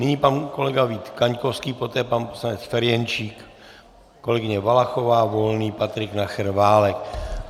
Nyní pan kolega Vít Kaňkovský, poté pan poslanec Ferjenčík, kolegyně Valachová, Volný, Patrik Nacher, Válek.